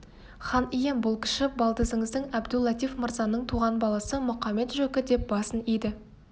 хан ием бұл кіші балдызыңыз әбду-латиф мырзаның туған баласы мұқамет-жөкі деп басын иді